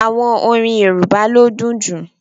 Àwọn orín Yorùbá ló dùn jú.